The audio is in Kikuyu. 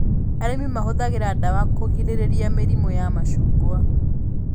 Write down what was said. Arĩmi mahũthagĩra ndawa kũgĩrĩria mĩrĩmũ ya macungwa